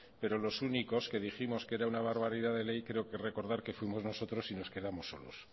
pero los únicos que dijimos que era una barbaridad de ley creo recordar que fuimos nosotros y nos quedamos solos